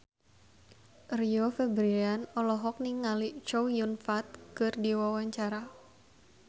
Rio Febrian olohok ningali Chow Yun Fat keur diwawancara